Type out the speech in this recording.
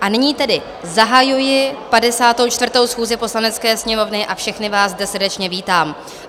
A nyní tedy zahajuji 54. schůzi Poslanecké sněmovny a všechny vás zde srdečně vítám.